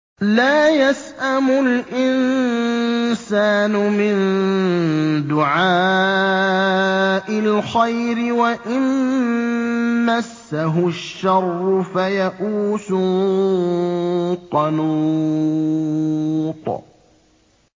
لَّا يَسْأَمُ الْإِنسَانُ مِن دُعَاءِ الْخَيْرِ وَإِن مَّسَّهُ الشَّرُّ فَيَئُوسٌ قَنُوطٌ